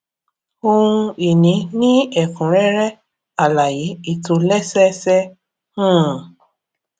ohun ìní ní ẹkúnrẹrẹ alaye ìtòlésẹẹsẹ um